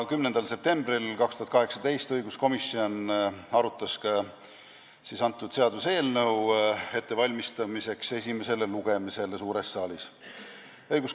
10. septembril 2018 arutas õiguskomisjon seda seaduseelnõu, et valmistada seda ette esimeseks lugemiseks suures saalis.